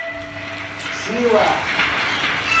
сила